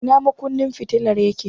Ina makunnin fitilar yake?